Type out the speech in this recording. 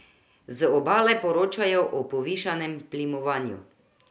Z Obale poročajo o povišanem plimovanju.